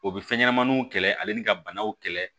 O bɛ fɛn ɲɛnɛmaniw kɛlɛ ale ni ka banaw kɛlɛ